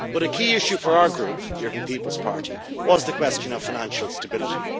A key issue for our group, the European People's Party, was the question of financial stability.